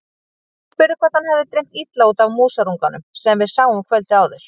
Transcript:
Ég spurði hvort hann hefði dreymt illa út af músarunganum sem við sáum kvöldið áður.